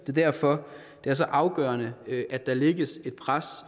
er derfor det er så afgørende at der lægges et pres